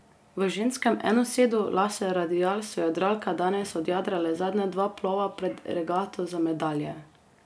V ženskem enosedu laser radial so jadralke danes odjadrale zadnja dva plova pred regato za medalje.